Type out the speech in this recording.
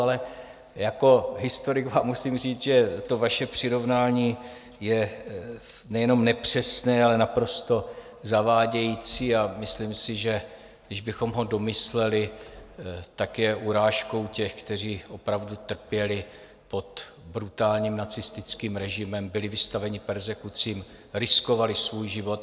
Ale jako historik vám musím říct, že to vaše přirovnání je nejenom nepřesné, ale naprosto zavádějící a myslím si, že když bychom ho domysleli, tak je urážkou těch, kteří opravdu trpěli pod brutálním nacistickým režimem, byli vystaveni perzekucím, riskovali svůj život.